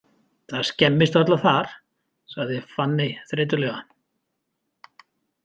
Það skemmist varla þar, sagði Fanney þreytulega.